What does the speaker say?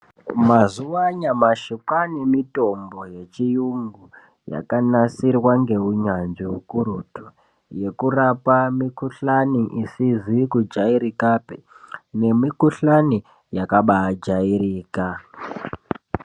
Mazuwa anyamashi kwaane mitombo yechiyungu, yakanasirwa ngeunyanzvi ukurutu, yekurapa mikhuhlani isizi kujairikapi, nemikhuhlani yakabaajairika.